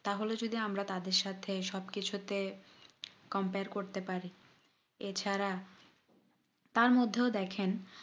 তাহলে যদি আমরা তাদের সাথে সব কিছুতে compare করতে পারি এ ছাড়া তার মধ্যেও দেখেন